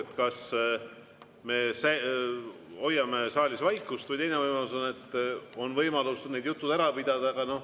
Üks on see, et me hoiame saalis vaikust, ja teine võimalus on need jutud ära pidada.